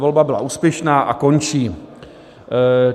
Volba byla úspěšná a končí.